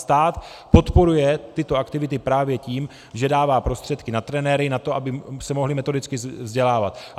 Stát podporuje tyto aktivity právě tím, že dává prostředky na trenéry, na to, aby se mohli metodicky vzdělávat.